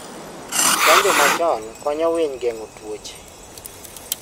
Chanjo machon konyo winy geng'o tuoche